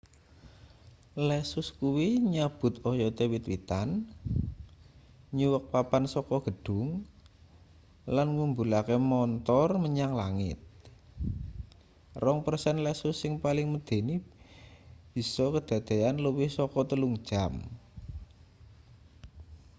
lesus kuwi nyabut oyote wit-witan nyuwek papan saka gedhung lan ngumbulake montor menyang langit rong persen lesus sing paling medeni bisa kedadeyan luwih saka telung jam